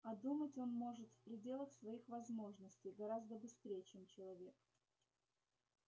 а думать он может в пределах своих возможностей гораздо быстрее чем человек